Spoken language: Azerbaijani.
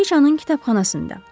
Kraliçanın kitabxanasında.